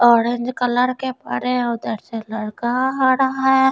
Orange colour के पड़े है उधर से लड़का आ रहा है।